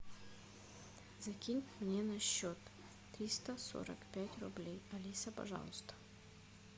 закинь мне на счет триста сорок пять рублей алиса пожалуйста